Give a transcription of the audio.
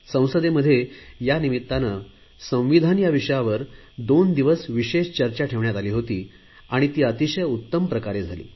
संसदेत यानिमित्ताने संविधानावर दोन दिवस विशेष चर्चा ठेवण्यात आली होती आणि ती अतिशय उत्तम प्रकारे झाली